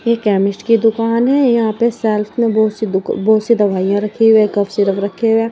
ये केमिस्ट की दुकान है यहां पे सेल्फ मे बहुत सी दु बहुत सी दवाइयां रखी हुई है। कफ सिरप रखे हुए है।